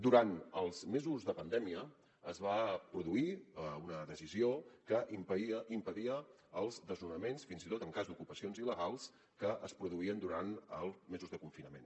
durant els mesos de pandèmia es va produir una decisió que impedia els desnonaments fins i tot en cas d’ocupacions il·legals que es produïen durant els mesos de confinament